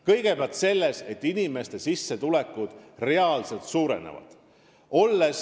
Kõigepealt sellepärast, et inimeste sissetulekud suurenevad reaalselt.